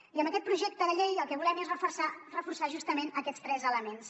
i amb aquest projecte de llei el que volem és reforçar justament aquests tres elements